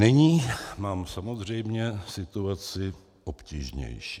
Nyní mám samozřejmě situaci obtížnější.